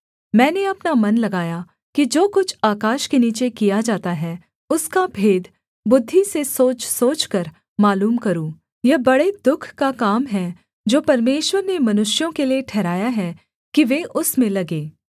मैंने अपना मन लगाया कि जो कुछ आकाश के नीचे किया जाता है उसका भेद बुद्धि से सोच सोचकर मालूम करूँ यह बड़े दुःख का काम है जो परमेश्वर ने मनुष्यों के लिये ठहराया है कि वे उसमें लगें